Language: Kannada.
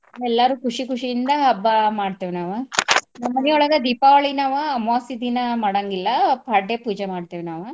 ಎಲ್ಲಾರು ಖುಷಿ ಖುಷಿ ಇಂದ ಹಬ್ಬ ಮಾಡ್ತೇವ್ ನಾವು ನಮ್ಮ ಮನಿ ಒಳ್ಗ ದೀಪಾವಳಿ ನಾವ ಅಮ್ವಾಸ್ಸಿ ದಿನಾ ಮಡಂಗಿಲ್ಲ ಪಾಡ್ಯ ಪೂಜೆ ಮಾಡ್ತಿವ್ ನಾವು.